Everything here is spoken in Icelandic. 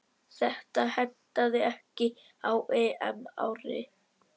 Þetta hentaði ekki á EM-ári.